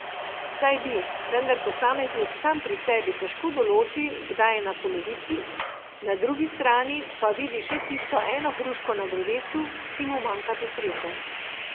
Saj bi, vendar posameznik sam pri sebi težko določi, kdaj je na polovici, na drugi strani pa vidi še tisto eno hruško na drevesu, ki mu manjka do sreče.